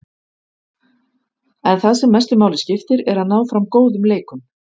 En það sem mestu máli skiptir er að ná fram góðum leikum.